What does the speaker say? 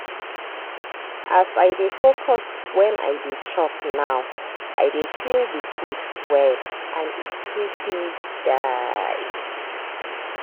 as i dey focus when i dey chop now i dey feel the food well and e sweet me die.